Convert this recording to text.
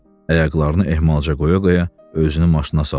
Ayaqlarını ehmalca qoya-qoya özünü maşına saldı.